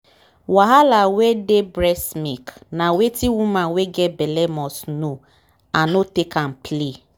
wahala wen dey breast milk na wetin woman wen get belle must know and not take am play.